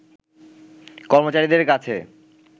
কর্মচারীদের কাছে